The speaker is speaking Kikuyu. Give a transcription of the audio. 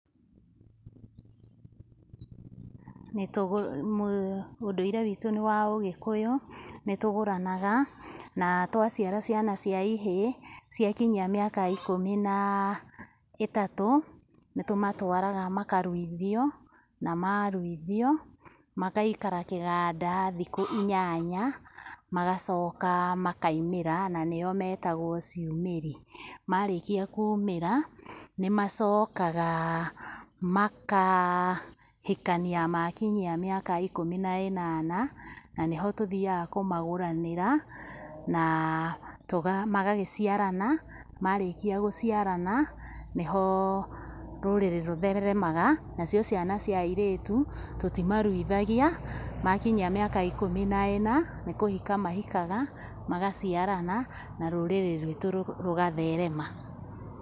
Ũndũire witũ nĩ wa ũgĩkũyũ, nĩ tũgũranaga na twaciara ciana cia ihĩĩ, cia kinyia mĩaka ikũmi na ĩtatu, nĩ tũmatwaraga makaruithio . Na maruithio magaikara kĩganda thikũ inyanya, magacoka makaimĩra na nĩo metagwo ciumĩri. Marĩkia kumĩra, nĩ macokaga makahikania makinyia mĩaka ikũmi na inana. Na nĩho tũthiaga kũmagũranĩra na magagĩciarana na marĩkia gũciarana nĩho rũrĩrĩ rũtheremaga. Nacio ciana cia airĩtu tũtimaruithagia, makinyia miaka ikũmi na ina, nĩ kũhika mahikaga magaciarana na rũrĩrĩ ruitũ rũgatherema.